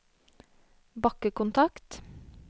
bakkekontakt